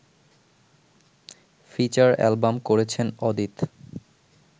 feature album করেছেন অদিত